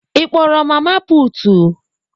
Ị kpọrọ mama putu?